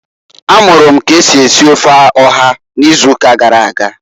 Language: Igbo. A mụrụ m k'esi esi ofe ọha ịzụụka gara aga.